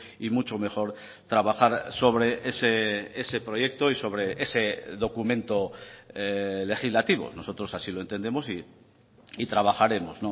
y mucho mejor trabajar sobre ese proyecto y sobre ese documento legislativo nosotros así lo entendemos y trabajaremos